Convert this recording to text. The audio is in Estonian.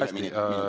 Hästi!